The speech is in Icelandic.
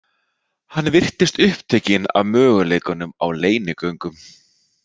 Hann virtist upptekinn af möguleikanum á leynigöngum.